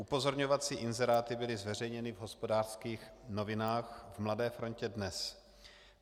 Upozorňovací inzeráty byly zveřejněny v Hospodářských novinách, v Mladé frontě DNES.